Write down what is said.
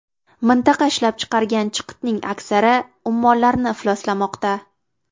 Mintaqa ishlab chiqargan chiqitning aksari ummonlarni ifloslamoqda.